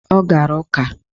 Ọ gara ụka